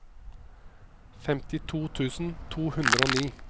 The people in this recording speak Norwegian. femtito tusen to hundre og ni